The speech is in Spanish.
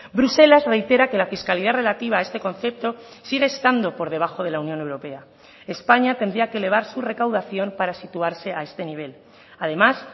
bruselas reitera que la fiscalidad relativa a este concepto sigue estando por debajo de la unión europea españa tendría que elevar su recaudación para situarse a este nivel además